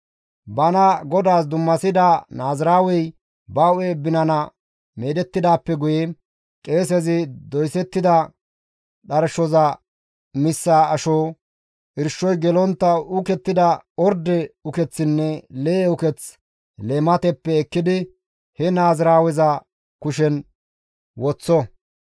« ‹Bana Godaas dummasida naaziraawey ba hu7e binana meedettidaappe guye qeesezi doysettida dharshoza missa asho, irshoy gelontta uukettida orde ukeththinne lee7e uketh leemateppe ekkidi he naaziraaweza kushen woththo.